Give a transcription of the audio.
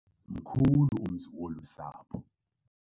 Mkhulu umzi wolu sapho.